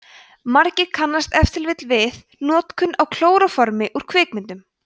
margir kannast ef til vill við notkun á klóróformi úr kvikmyndum